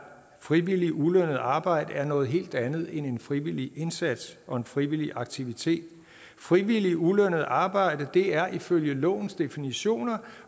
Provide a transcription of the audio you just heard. frivilligt ulønnet arbejde er noget helt andet end i en frivillig indsats og en frivillig aktivitet frivilligt ulønnet arbejde er ifølge lovens definitioner